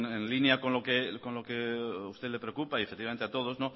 en línea con lo que a usted le preocupa y efectivamente a todos